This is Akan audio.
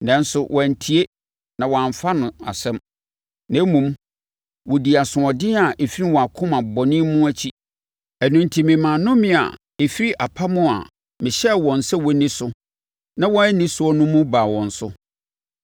Nanso, wɔantie na wɔamfa no asɛm; na mmom, wɔdii asoɔden a ɛfiri wɔn akoma bɔne mu akyi. Ɛno enti memaa nnomea a ɛfiri apam a mahyɛ wɔn sɛ wɔnni so na wɔanni so no mu baa wɔn so.’ ”